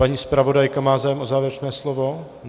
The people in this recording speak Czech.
Pan zpravodajka má zájem o závěrečné slovo?